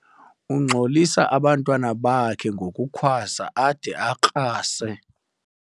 Ungxolisa abantwana bakhe ngokukhwaza ade akrase.